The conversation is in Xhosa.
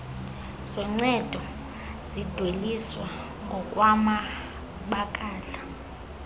zoncedo zidweliswa ngokwamabakala